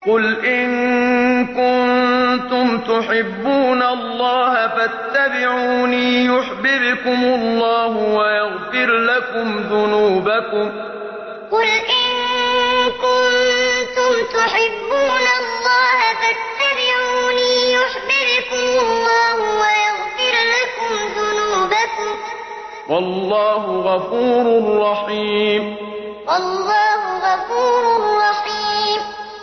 قُلْ إِن كُنتُمْ تُحِبُّونَ اللَّهَ فَاتَّبِعُونِي يُحْبِبْكُمُ اللَّهُ وَيَغْفِرْ لَكُمْ ذُنُوبَكُمْ ۗ وَاللَّهُ غَفُورٌ رَّحِيمٌ قُلْ إِن كُنتُمْ تُحِبُّونَ اللَّهَ فَاتَّبِعُونِي يُحْبِبْكُمُ اللَّهُ وَيَغْفِرْ لَكُمْ ذُنُوبَكُمْ ۗ وَاللَّهُ غَفُورٌ رَّحِيمٌ